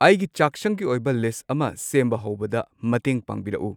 ꯑꯩꯒꯤ ꯆꯥꯛꯁꯪꯒꯤ ꯑꯣꯏꯕ ꯂꯤꯁꯠ ꯑꯃ ꯁꯦꯝꯕ ꯍꯧꯕꯗ ꯃꯇꯦꯡ ꯄꯥꯡꯕꯤꯔꯛꯎ